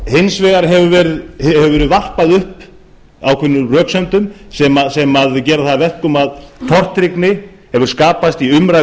hins vegar hefur verið varpað upp ákveðnum röksemdum sem gera það að verkum að tortryggni hefur skapast í umræðu